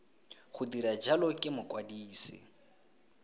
go dira jalo ke mokwadise